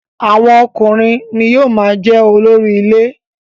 Awọn ọkùnrin ni yóò máa jẹ́ olórí ilé.